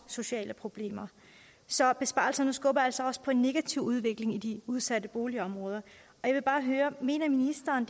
sociale problemer så besparelserne skubber altså også på en negativ udvikling i de udsatte boligområder jeg vil bare høre mener ministeren